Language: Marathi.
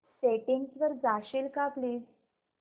सेटिंग्स वर जाशील का प्लीज